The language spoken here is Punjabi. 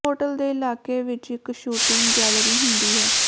ਹੋਟਲ ਦੇ ਇਲਾਕੇ ਵਿਚ ਇਕ ਸ਼ੂਟਿੰਗ ਗੈਲਰੀ ਹੁੰਦੀ ਹੈ